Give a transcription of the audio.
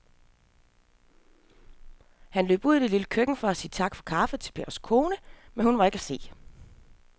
Han løb ud i det lille køkken for at sige tak for kaffe til Pers kone, men hun var ikke til at se.